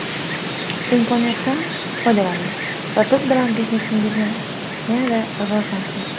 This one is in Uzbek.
Imkoniyatdan foydalaning va biz bilan biznesingizni yanada rivojlantiring!